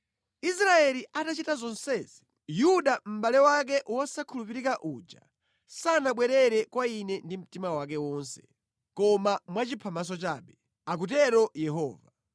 Israeli atachita zonsezi, Yuda mʼbale wake wosakhulupirika uja sanabwerere kwa Ine ndi mtima wake wonse, koma mwachiphamaso chabe,” akutero Yehova.